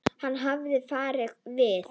Hann hafði farið víða.